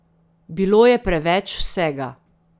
Bilo je preveč vsega.